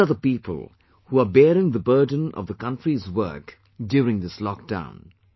These are the people who are bearing the burden of the country's work during this lock down